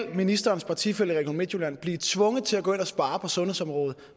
vil ministerens partifælle i region midtjylland blive tvunget til at gå ind og spare på sundhedsområdet